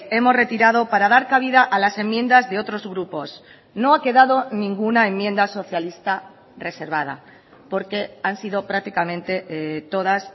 hemos retirado para dar cabida a las enmiendas de otros grupos no ha quedado ninguna enmienda socialista reservada porque han sido prácticamente todas